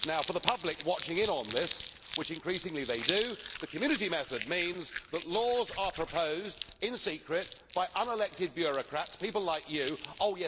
For the public watching in on this which increasingly they do the Community method means that laws are proposed in secret by unelected bureaucrats people like you, Mr Barroso.